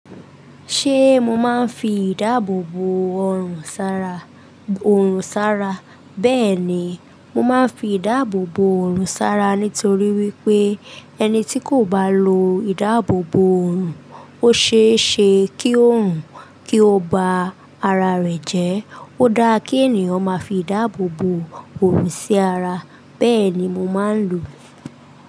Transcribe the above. Ṣé mo máa ń fi ìdáàbò bò ọorùn sára? Oòrùn sára. Bẹ́ẹ̀ni, mo máa ń fi ìdáàbò bò òòrùn sára nítorí wípé ẹni tí kò bá lo ìdáàbò bò oòrùn, ó ṣe é ṣe kí oòrùn kí ó ba ara rẹ̀ jẹ́. Ó dáa kí ènìyàn máa fi ìdáàbò bò oòrùn sí ara. Bẹ́ẹ̀ni mo máa ń lò.